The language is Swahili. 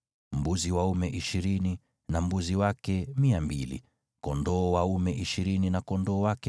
Mbuzi waume ishirini na mbuzi wake 200, kondoo dume ishirini na kondoo wake 200.